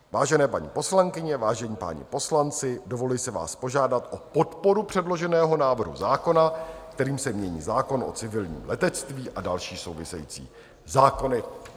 Vážené paní poslankyně, vážení páni poslanci, dovoluji si vás požádat o podporu předloženého návrhu zákona, kterým se mění zákon o civilním letectví a další související zákony.